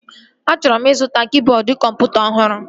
Achọrọ m ịzụta kịboodu kọmputa ọhụrụ